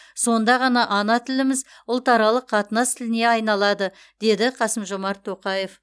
сонда ғана ана тіліміз ұлтаралық қатынас тіліне айналады деді қасым жомарт тоқаев